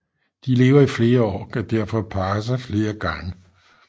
De lever i flere år og kan derfor parre sig flere gange